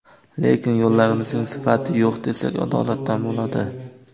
Lekin yo‘llarimizning sifati yo‘q, desak adolatdan bo‘ladi.